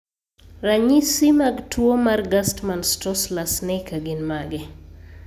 Ranyisi mag tuwo mar Gerstmann-Straussler-Scheinker gin mage?